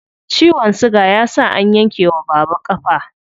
Ciwon siga ya sa an yanke wa baba ƙafa.